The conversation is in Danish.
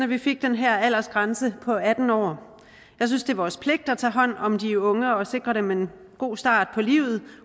vi fik den her aldersgrænse på atten år jeg synes det er vores pligt at tage hånd om de unge og sikre dem en god start på livet